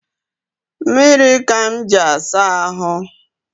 Mmiri ka m ji asa ahụ